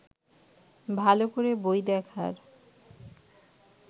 ভালো করে বই দেখার